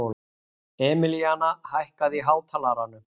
Emilíana, hækkaðu í hátalaranum.